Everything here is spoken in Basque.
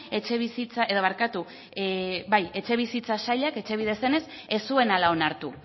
etxebizitza sailak etxebide zenez ez zuela onartu